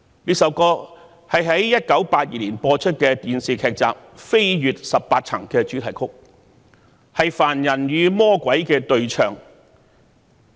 這首歌是1982年播出的電視劇集"飛越十八層"的主題曲，是凡人與魔鬼的對唱。